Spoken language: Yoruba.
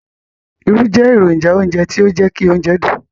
Irú jẹ èrònjà ounjẹ ti o jẹ ki óunjẹ dùn